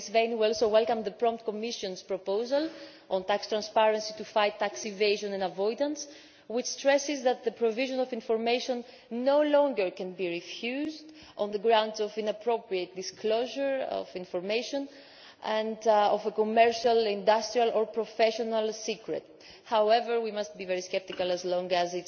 We welcome the Commission's prompt proposal on tax transparency to fight tax evasion and avoidance, which stresses that the provision of information can no longer be refused on the grounds of inappropriate disclosure of information and of commercial, industrial or professional secrecy. However, we must be very sceptical so long